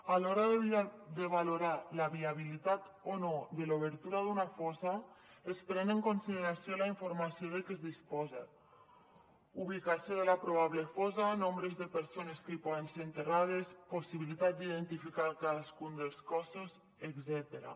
a l’hora de valorar la viabilitat o no de l’obertura d’una fossa es pren en consideració la informació de què es disposa ubicació de la probable fossa nombre de persones que hi poden ser enterrades possibilitat d’identificar cadascun dels cossos etcètera